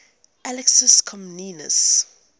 alexius comnenus